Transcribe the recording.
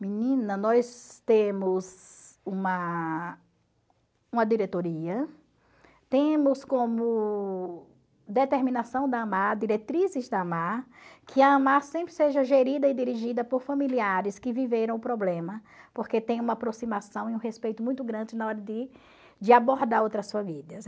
Menina, nós temos uma uma diretoria, temos como determinação da AMAR, diretrizes da AMAR, que a AMAR sempre seja gerida e dirigida por familiares que viveram o problema, porque tem uma aproximação e um respeito muito grande na hora de de abordar outras famílias.